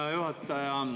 Hea juhataja!